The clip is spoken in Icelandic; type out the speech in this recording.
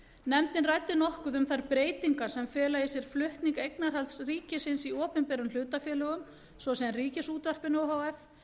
nefndin ræddi nokkuð um þær breytingar sem fela í sér flutning eignarhalds ríkisins í opinberum hlutafélögum svo sem ríkisútvarpinu o h f